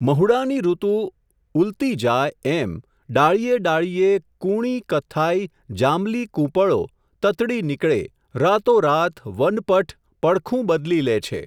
મહુડાંની ઋતુ, ઉલતી જાય, એમ, ડાળીએ ડાળીએ, કૂણી કથ્થાઈ, જાંબલી કૂંપળો, તતડી નીકળે, રાતોરાત, વનપટ, પડખું બદલી લે છે.